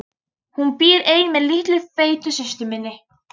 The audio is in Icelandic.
Hún býr ein með litlu feitu systur minni.